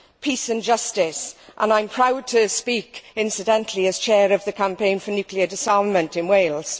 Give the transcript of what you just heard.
peace and justice and I am proud to speak, incidentally, as chair of the Campaign for Nuclear Disarmament in Wales.